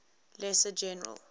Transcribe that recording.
lesser general